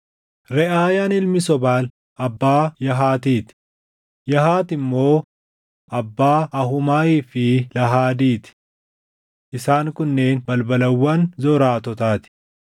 Reʼaayaan ilmi Sobaal abbaa Yahaatiiti; Yahaati immoo abbaa Ahuumaayii fi Laahadii ti. Isaan kunneen balbalawwan Zoraatotaa ti.